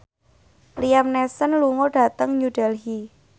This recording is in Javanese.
Liam Neeson lunga dhateng New Delhi